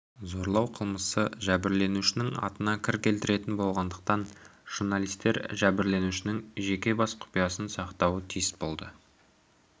зорлау қылмысы жәбірленушінің атына кір келтіретін болғандықтан журналистер жәбірленушінің жеке бас құпиясын сақтауы тиіс болды